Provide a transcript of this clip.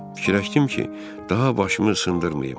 Fikirləşdim ki, daha başımı sındırmayım.